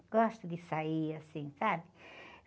Eu gosto de sair, assim, sabe?